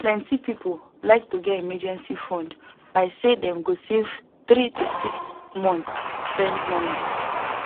plenty people like to get emergency fund by say them go save three to six months spend money